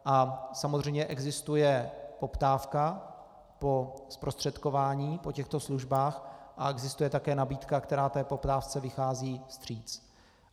A samozřejmě existuje poptávka po zprostředkování po těchto službách a existuje také nabídka, která té poptávce vychází vstříc.